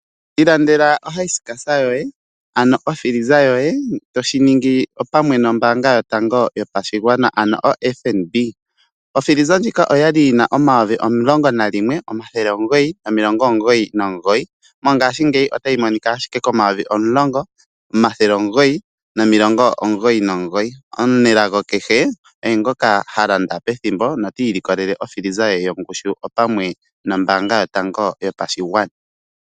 Ilandela okila yoye yokutalaleka pamwe nombaanga yotango yopashigwana ano oFNB. Oya li yi na N$11999, ihe mongashingeyi oyi na N$10999. Omunelago ongoka ha landa pethimbo notiilikolele okila ye opamwe nombaanga yotango yopashigwana.